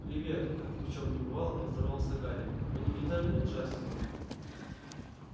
привет как ни в чём не бывало поздоровался гарри вы не видели джастина